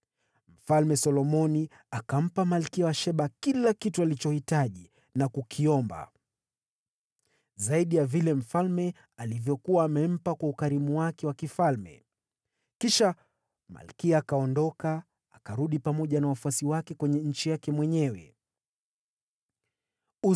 Mfalme Solomoni akampa malkia wa Sheba kila kitu alichotamani na kukiomba, kando na vile mfalme alivyokuwa amempa kwa ukarimu wake wa kifalme. Kisha malkia akaondoka na kurudi katika nchi yake, yeye na watumishi wake.